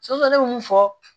ne bɛ mun fɔ